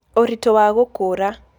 Ũritũ wa gũkũra: